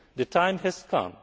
The time has